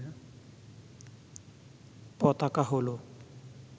পতাকা হল